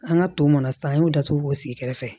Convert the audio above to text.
An ka to mana san an y'o datugu k'o sigi kɛrɛfɛ